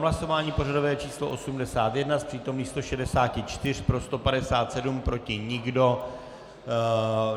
Hlasování pořadové číslo 81, z přítomných 164 pro 157, proti nikdo.